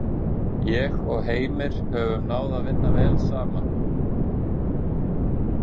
Ég og Heimir höfum náð að vinna vel saman.